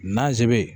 Nanze